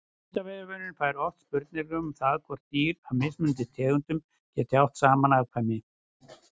Vísindavefurinn fær oft spurningar um það hvort dýr af mismunandi tegundum geti átt saman afkvæmi.